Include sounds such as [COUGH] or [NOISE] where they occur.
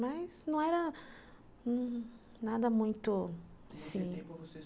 Mas não era nada muito... [UNINTELLIGIBLE]